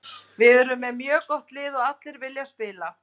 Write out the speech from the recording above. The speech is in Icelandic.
Við erum með mjög gott lið og allir vilja spila.